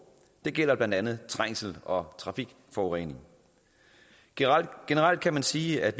det gælder blandt andet trængsel og trafikforurening generelt kan man sige at